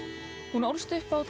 hún ólst upp á